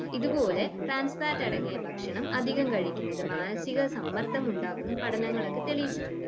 ഇതുപോലെ ട്രാൻസ്ഫാറ്റ് അടങ്ങിയ ഭക്ഷണം അധികം കഴിക്കുന്നത് മാനസിക സമ്മർദ്ദം ഉണ്ടാക്കും പഠനങ്ങളൊക്കെ തെളിയിച്ചിട്ടുണ്ട്